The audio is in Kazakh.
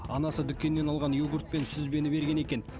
анасы дүкеннен алған йогурт пен сүзбені берген екен